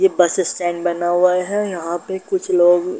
ये bus stand बना हुआ है यहाँ पे कुछ लोग --